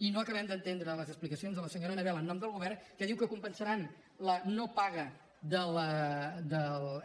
i no acabem d’entendre les explicacions de la senyora annabel en nom del govern que diu que compensaran la no paga